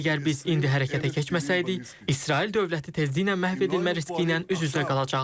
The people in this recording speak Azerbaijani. Əgər biz indi hərəkətə keçməsəydik, İsrail dövləti tezliklə məhv edilmə riski ilə üz-üzə qalacaqdı.